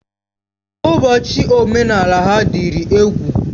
Ụbọchị omenala ha dịrị egwu.